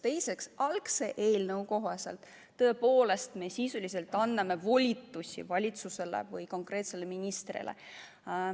Teiseks, algse eelnõu kohaselt tõepoolest me sisuliselt anname volitusi valitsusele või konkreetsele ministrile.